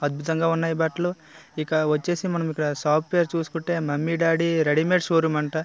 అద్భుతంగా ఉన్నాయి బట్టలు. ఇక వచ్చేసి మనకి సాఫ్ట్వేర్ చూసుకుంటే mummy daddy readymade showroom అంట .